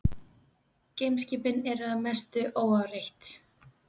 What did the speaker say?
Geimskipin eru því að mestu óáreitt.